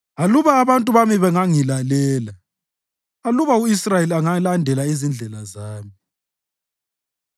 Aluba abantu bami bengangilalela, aluba u-Israyeli engalandela izindlela zami,